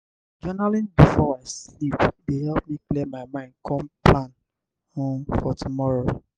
journaling before i sleep dey help me clear my mind come plan um for tomorrow.